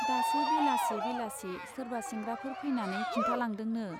दासो बेलासि बेलासि सोरबा सेंग्राफोर फैनानै खिन्थालांदोंनो।